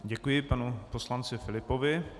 Děkuji panu poslanci Filipovi.